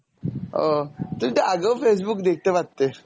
ও, তুমি তো আগেও Facebook দেখতে পারতে